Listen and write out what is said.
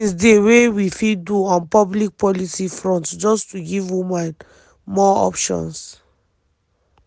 many tins dey wey we fit do on public policy front just to give women more options.”